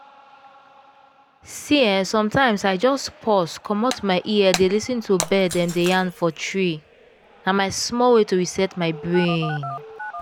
see eh sometimes i just pause commot my ear dey lis ten to bird dem dey yarn for tree—na my small way to reset my brain.